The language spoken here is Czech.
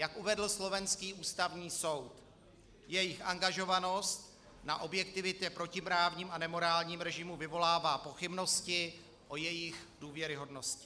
Jak uvedl slovenský Ústavní soud, jejich angažovanost na objektivitě (?) protiprávním a nemorálním režimu vyvolává pochybnosti o jejich důvěryhodnosti.